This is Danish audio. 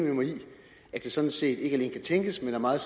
jeg det sådan set ikke alene kan tænkes men er meget